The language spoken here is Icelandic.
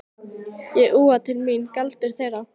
Ég úa til mín galdur þeirra.